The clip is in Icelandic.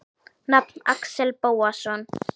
Nafn: Axel Bóasson